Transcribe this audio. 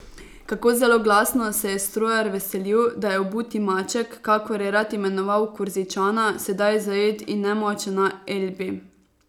Kako zelo glasno se je strojar veselil, da je obuti maček, kakor je rad imenoval Korzičana, sedaj zajet in nemočen na Elbi.